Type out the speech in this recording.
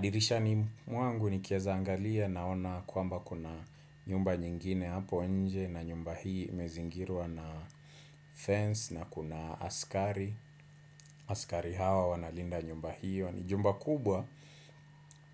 Dirishani mwangu nikiezaangalia naona kwamba kuna nyumba nyingine hapo nje na nyumba hii imezingirwa na fence na kuna askari. Askari hao wana linda nyumba hiyo. Ni jumba kubwa